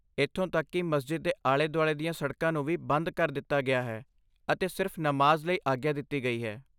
ਇੱਥੋਂ ਤੱਕ ਕੀ ਮਸਜਿਦ ਦੇ ਆਲੇ ਦੁਆਲੇ ਦੀਆਂ ਸੜਕਾਂ ਨੂੰ ਵੀ ਬੰਦ ਕਰ ਦਿੱਤਾ ਗਿਆ ਹੈ ਅਤੇ ਸਿਰਫ਼ ਨਮਾਜ਼ ਲਈ ਆਗਿਆ ਦਿੱਤੀ ਗਈ ਹੈ